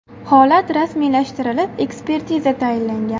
Holat rasmiylashtirilib, ekspertiza tayinlangan.